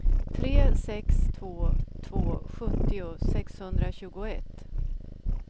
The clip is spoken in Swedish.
tre sex två två sjuttio sexhundratjugoett